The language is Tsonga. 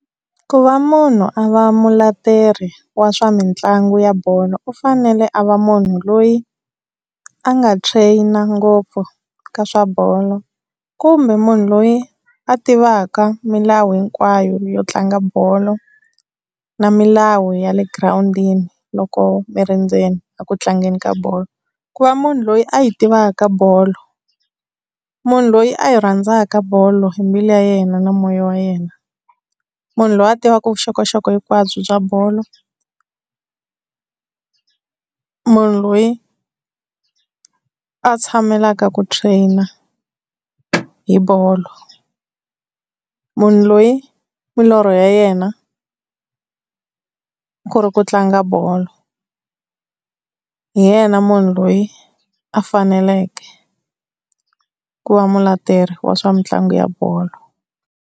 Ku va munhu a va muleteri wa swa mitlangu ya bolo u fanele a va munhu loyi a nga trainer ngopfu ka swa bolo. Kumbe munhu loyi a tivaka milawu hinkwayo yo tlanga bolo na milawu ya le girawundini loko mi ri ndzeni a ku tlangeni ka bolo. Ku va munhu loyi a yi tivaka bolo munhu loyi a yi rhandzaka bolo hi mbilu ya yena na moya wa yena. Munhu loyi a tivaka vuxokoxoko hinkwabyo bya bolo. Munhu loyi a tshamelaka ku trainer hi bolo. Munhu loyi milorho ya yena ku ri ku tlanga bolo, hi yena munhu loyi a faneleke ku va muleteri wa swa mitlangu ya bolo.